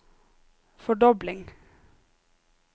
fordobling